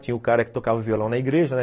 Tinha o cara que tocava violão na igreja, né?